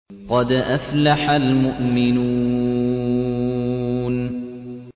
قَدْ أَفْلَحَ الْمُؤْمِنُونَ